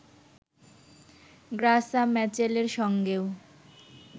Graca ম্যাচেলের সঙ্গেও